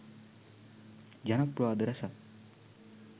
ජනප්‍රවාද රැසක්